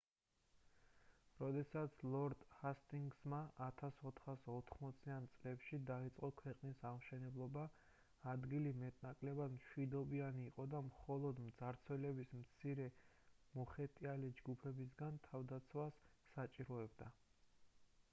როდესაც ლორდ ჰასტინგსმა 1480-იან წლებში დაიწყო ქვეყნის აღმშენებლობა ადგილი მეტ-ნაკლებად მშვიდობიანი იყო და მხოლოდ მძარცველების მცირე მოხეტიალე ჯგუფებისგან თავდაცვას საჭიროებდა